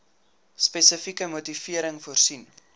spesifieke motivering voorsien